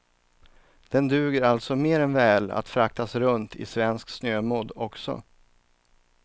Den duger alltså mer än väl att fraktas runt i svensk snömodd också.